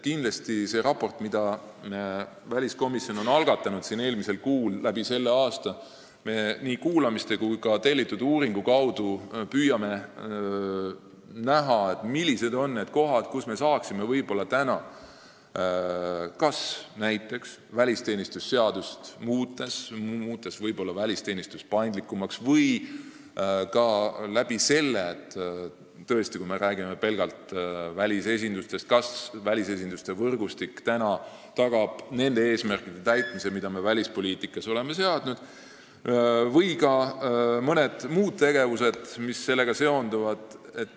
Kindlasti me püüame selle raporti koostamise käigus, mille väliskomisjon eelmisel kuul algatas, ehk aasta jooksul nii kuulamiste kui ka tellitud uuringu kaudu üles leida need kohad, kus oleks võimalik näiteks välisteenistuse seadust muutes välisteenistust paindlikumaks muuta, ning saada selgust selles, kas välisesinduste võrgustik tagab nende eesmärkide täitmise, mille me välispoliitikas seadnud oleme, või infot mõne muu seonduva tegevuse kohta.